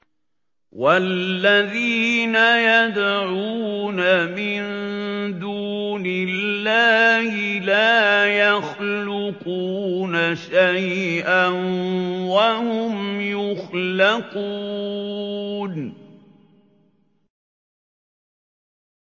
وَالَّذِينَ يَدْعُونَ مِن دُونِ اللَّهِ لَا يَخْلُقُونَ شَيْئًا وَهُمْ يُخْلَقُونَ